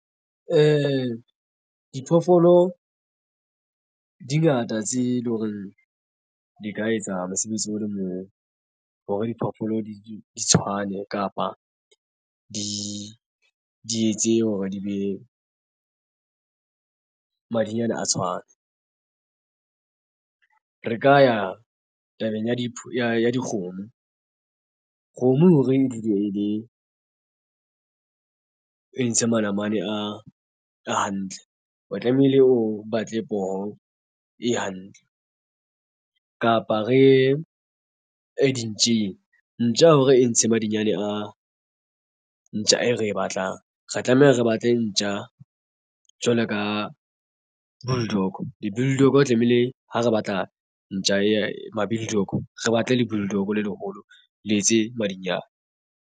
Diphoofolo dingata tse leng hore di ka etsa mosebetsi o le moo hore diphoofolo di tshwane kapa di etse hore di be madinyana a tshwane. Re ka ya tabeng ya di ya dikgomo, kgomo hore e dule e le e ntshe manamane a hantle o tlamehile o batle poho e hantle. Kapa re ye a dintja ntja hore e ntshe madinyane a ntja e re e batlang re tlameha re batle ntja jwalo ka bulldog le bulldog tlamehile ha re batla ntja e ma-bulldog re batle le bulldog le leholo le etse madinyane.